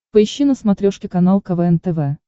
поищи на смотрешке канал квн тв